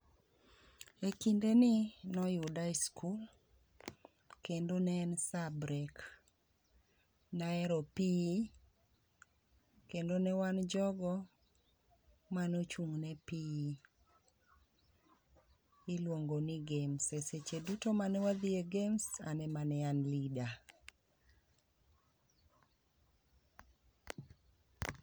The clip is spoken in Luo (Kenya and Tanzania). E kinde ni noyuda e skul, kendo ne en sa brek. Naero PE, kendo newan jogo manuchung' ne PE miluongo ni games. E seche duto mane wadhi e games ane mane an leader.